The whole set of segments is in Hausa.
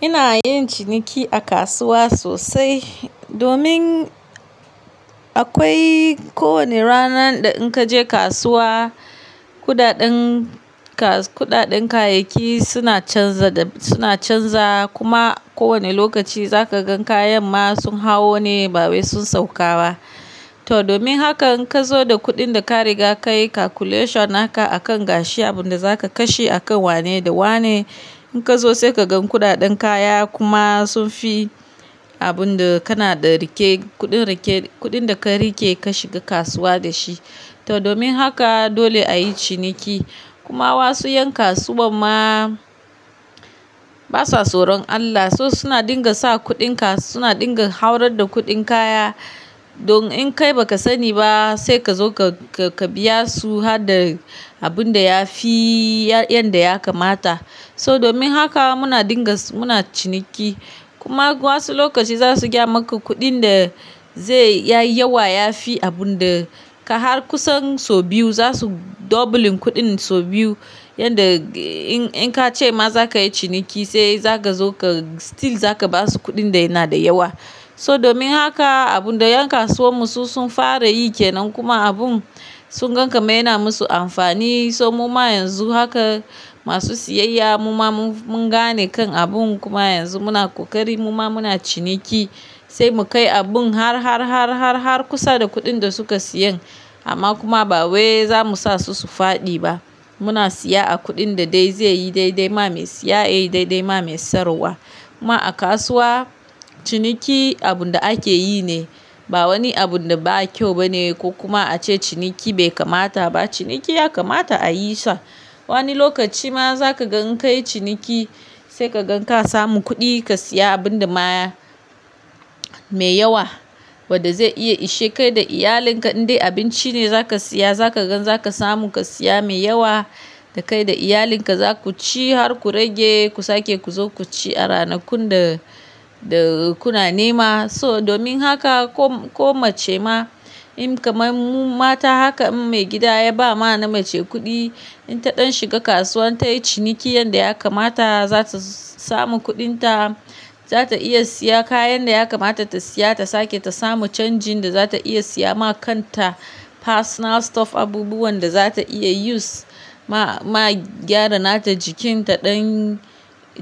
Ina yin ciniki a kasuwa sosai. Domin akwai ko wane ranar da in ka je kasuwa, kuɗaɗen ka, kuɗaɗen kayayyaki suna canza da suna canza, kuma ko wani lokaci za ka gan kayan ma sun hawo ne ba wai sun sauka ba. To domin hakan in ka zo da kuɗin da ka riga ka yi calculation haka a kan gashi abun da za ka kashe a kan wane da wane, in ka zo sai ka gan kuɗaɗen kaya kuma sun fi abun da kana da rike kuɗin rike, kuɗin da ka rike ka shiga kasuwa da shi. To domin haka dole a yi ciniki. Kuma wasu yan kasuwar ma, basa soron Allah so suna dinga sa kudin, suna dinga haurar da kudin kaya domin in kai baka sani ba sai ka zo ka, ka biya su har da abun da ya fi yanda ya kamata. So domin haka muna dinga, muna ciniki. Kuma wasu lokaci za su gyamaka kuɗin da zai ya yi yawa, ya fi abun da ka har kusan sau biyu za su doubling kuɗin sau biyu. Yanda in, in ka ce ma za ka yi ciniki sai za ka zo ka still za ka ba su kuɗin da yana da yawa. So domin haka abun da yan kasuwar mu su sun fara yi ke nan kuma abun sun gan kamar yana musu amfani. So muma yanzu haka masu siyayya muma mun gane kan abun kuma yanzu muna kokari muma muna ciniki, sai mu kai abun har, har, har, har, har kusa da kuɗin da suka siyan. Amma kuma ba wai za mu sa su su fadi ba. Muna siya a kuɗin da dai zai yi, dai dai ma mai siya, yi dai dai ma mai siyarwa. Ma a kasuwa ciniki abun da ake yi ne, ba wani abun da ba kyau bane ko kuma ace ciniki bai kamata ba. Ciniki ya kamata a yi sa. Wani lokaci ma za ka gan ka yi ciniki sai ka gan ka samu kuɗi ka siya abun da ma mai yawa wadda zai iya ishe kai da iyalin ka. Indai abinci ne za ka siya, za ka gan za ka samu ka siya mai yawa da kai da iyalin ka za ku ci har ku rage ku sake ku zo ku ci a ranakun da, da kuna nema. So domin haka ko, ko mace ma in kamar mu mata haka in maigida ya ba ma na mace kuɗi, in ta ɗan shiga kasuwa ta yi ciniki yanda ya kamata, za ta samu kuɗin ta, za ta iya siya kayan da ya kamata ta siya, ta sake ta samu canjin da za ta iya siya ma kan ta personal stuff, abubuwan da za ta iya use ma, ma gyara nata jikin ta ɗan,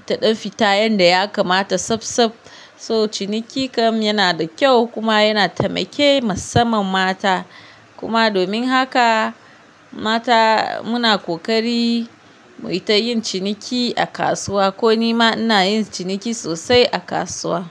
ta ɗan fita yanda ya kamata tsabtsab. So ciniki kam yana da kyau kuma yana taimake massaman mata. Kuma domin haka mata muna kokari mu yi ta yin ciniki a kasuwa. Ko ni ma ina yin ciniki sosai a kasuwa.